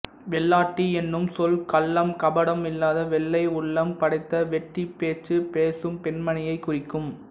வெள்ளாட்டி என்னும் சொல் கள்ளம் கபடம் இல்லாத வெள்ளை உள்ளம் படைத்த வெட்டிப் பேச்சு பேசும் பெண்மணியைக் குறிக்கும்